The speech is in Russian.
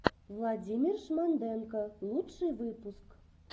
владимир шмонденко лучший выпуск